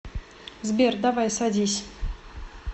сбер давай садись